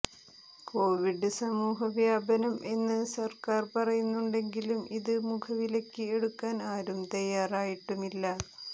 Covid സമൂഹവ്യാപനം എന്ന് സർക്കാർ പറയുന്നുണ്ടെങ്കിലും ഇത് മുഖവിലയ്ക്ക് എടുക്കാൻ ആരും തയ്യാറായിട്ടുമില്ല